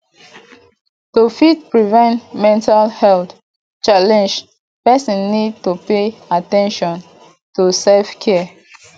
to fit prevent mental health challenge person need to pay at ten tion to self care